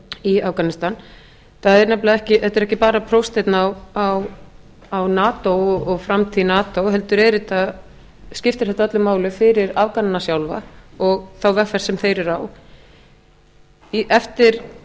í afganistan þetta er ekki bara prófsteinn á nato og framtíð nato heldur skiptir þetta öllu máli fyrir afgana sjálfa og þá vegferð sem þeir eru á